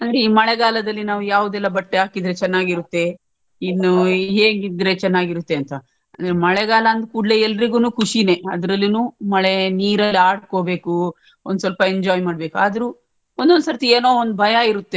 ಈ ಮಳೆಗಾಲದಲ್ಲಿ ನಾವ್ ಯಾವದೆಲ್ಲ ಬಟ್ಟೆ ಹಾಕಿದ್ರೆ ಚನ್ನಾಗಿರುತ್ತೆ ಇನ್ನು ಹೇಗಿದ್ರೆ ಚೆನ್ನಾಗಿರುತ್ತೆ ಅಂತ ಅಂದ್ರೆ ಮಳೆಗಾಲ ಅಂದ್ಕೂಡ್ಲೇ ಎಲ್ಡ್ರಿಗುನು ಖುಷಿನೇ ಅದ್ರಲ್ಲಿನೂ ಮಳೆ ನೀರಲ್ಲ್ ಆಡ್ಕೊಬೇಕು ಒಂದ್ ಸ್ವಲ್ಪ enjoy ಮಾಡಬೇಕು ಆದ್ರೂ ಒಂದೊಂದು ಸರ್ತಿ ಏನೋ ಒಂದು ಭಯ ಇರುತ್ತೆ.